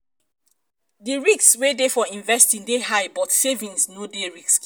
di risk wey de for investing de high but savings no de risky